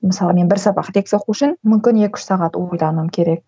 мысалы мен бір сағат лекция оқу үшін мүмкін екі үш сағат ойлануым керек